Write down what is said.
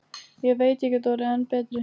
Ég veit ég get orðið enn betri.